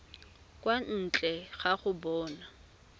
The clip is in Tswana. kwa ntle ga go bona